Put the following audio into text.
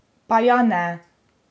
Pa ja ne?